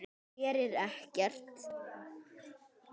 Gerir ekkert.